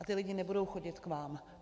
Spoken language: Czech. A ti lidé nebudou chodit k vám.